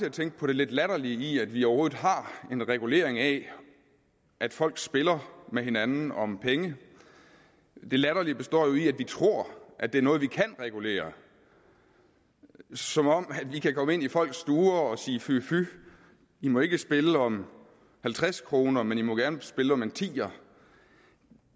at tænke på det lidt latterlige i at vi overhovedet har en regulering af at folk spiller med hinanden om penge det latterlige består jo i at vi tror at det er noget vi kan regulere som om vi kan komme ind i folks stuer og sige fy fy i må ikke spille om halvtreds kr men i må gerne spille om en ti